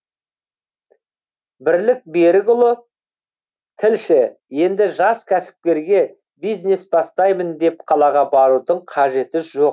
бірлік берікұлы тілші енді жас кәсіпкерге бизнес бастаймын деп қалаға барудың қажеті жоқ